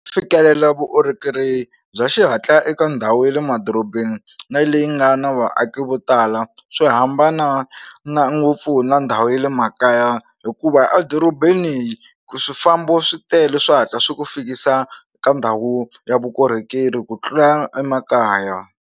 Fikelela vukorhokeri bya xihatla eka ndhawu ya le madorobeni na leyi nga na vaaki vo tala swi hambana na ngopfu na ndhawu ya le makaya hikuva edorobeni swifambo swi tele swi hatla swi ku fikisa ka ndhawu ya vukorhokeri ku tlula emakaya.